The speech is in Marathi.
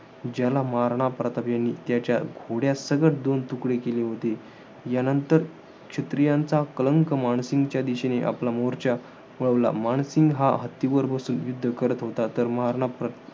ज्याला महाराणा प्रताप यांनी त्याच्या घोड्यासकट दोन तुकडे केले होते. यानंतर, क्षत्रियांचा कलंक मानसिंगच्या दिशेने आपला मोर्चा वळवला. मानसिंग हा हत्तीवर बसून युद्ध करत होता. तर महाराणा प्रताप